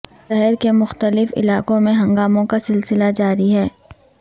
شہر کے مختلف علاقوں میں ہنگاموں کا سلسلہ جاری ہے